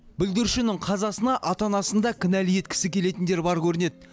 бүлдіршіннің қазасына ата анасын да кінәлі еткісі келетіндер бар көрінеді